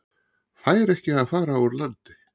Fær ekki að fara úr landi